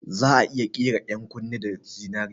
Za'a iya ƙera 'yan kunne da zinari